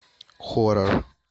хоррор